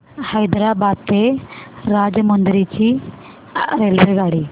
हैदराबाद ते राजमुंद्री ची रेल्वेगाडी